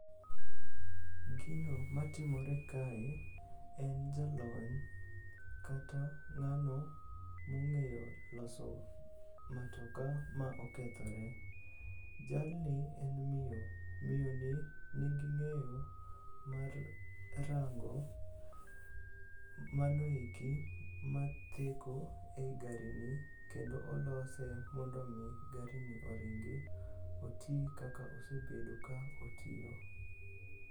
Gino matimore kae en jalony kata ng'ano mong'eyo loso matoka ma okethore. Jalni en miyo, miyoni nigi ng'eyo mar rango manoeki matheko e i garini kendo olose mondo omi garini oringi, oti kaka osebedo ka otiyo.